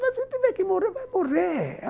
Mas se tiver que morrer vai morrer